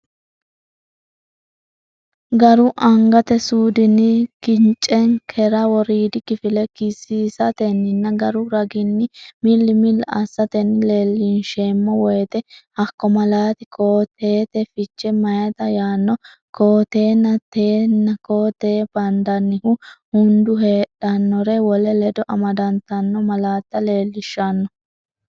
garu angate suudinni kicenkera woriidi kifile kisiisatenninna garu raginni milli milli assatenni leellinsheemmo woyite hakko malaati koo-teete fiche meyaata yaanno koo-teenna tenne koo-tee bandannihu hunda heedhannore wole ledo amadantanno malaatta leellishanno.